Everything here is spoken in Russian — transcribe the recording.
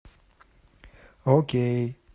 окей